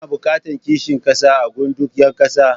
Ana buƙatar kishin ƙasa a gun duk ƴa ƙasa.